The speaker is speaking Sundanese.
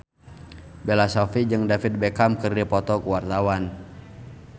Bella Shofie jeung David Beckham keur dipoto ku wartawan